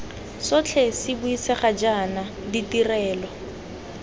sotlhe se buisegang jaana ditirelo